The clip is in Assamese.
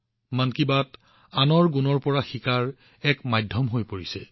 মন কী বাত আনৰ গুণাগুণৰ পৰা শিকাৰ বাবে এক মহান মাধ্যম হৈ পৰিছে